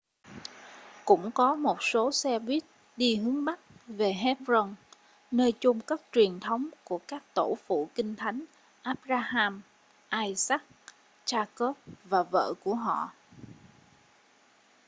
cũng có một số xe buýt đi hướng bắc về hebron nơi chôn cất truyền thống của các tổ phụ kinh thánh abraham isaac jacob và vợ của họ